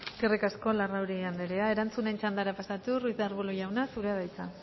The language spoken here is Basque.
eskerrik asko larrauri andrea erantzunen txandara pasatuz ruiz de arbulo jauna zurea da hitza